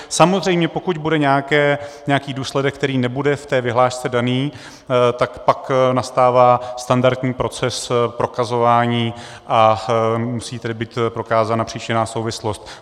Samozřejmě pokud bude nějaký důsledek, který nebude v té vyhlášce daný, tak pak nastává standardní proces prokazování, a musí tedy být prokázána příčinná souvislost.